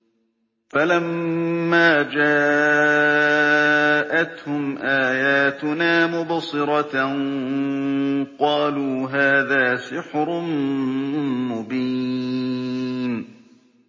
فَلَمَّا جَاءَتْهُمْ آيَاتُنَا مُبْصِرَةً قَالُوا هَٰذَا سِحْرٌ مُّبِينٌ